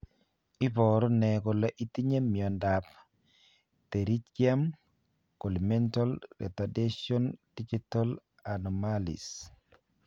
Iporu ne kole itinye miondap Pterygium colli mental retardation digital anomalies?